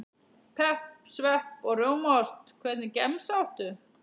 Pepp, svepp og rjómaost Hvernig gemsa áttu?